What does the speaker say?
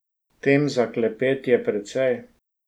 Tem za klepet je precej.